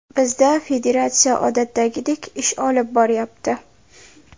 Bizda federatsiya odatdagidek ish olib boryapti.